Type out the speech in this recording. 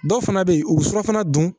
Dɔw fana bɛ yen u bɛ surɔfana dun